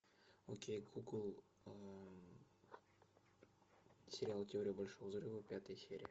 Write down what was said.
окей гугл сериал теория большого взрыва пятая серия